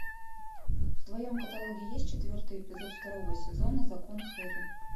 в твоем каталоге есть четвертый эпизод второго сезона закон хэрри